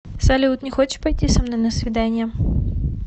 салют не хочешь пойти со мной на свидание